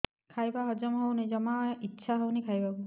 ଖାଇବା ହଜମ ହଉନି ଜମା ଇଛା ହଉନି ଖାଇବାକୁ